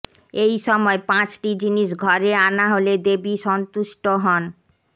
এই সময় পাঁচটি জিনিস ঘরে আনা হলে দেবী সন্তুষ্ট হন